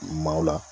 Maaw la